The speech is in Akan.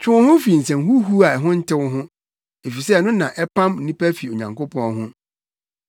Twe wo ho fi nsɛnhuhuw a ɛho ntew ho, efisɛ ɛno na ɛpam nnipa fi Onyankopɔn ho.